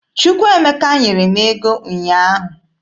Chukwuemeka nyere m ego ụnyaahụ.